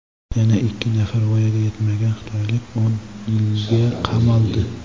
Yana ikki nafar voyaga yetmagan xitoylik o‘n yilga qamaldi.